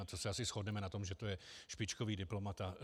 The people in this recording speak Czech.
A to se asi shodneme na tom, že to je špičkový diplomat.